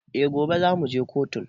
Eh, gobe za mu je kotun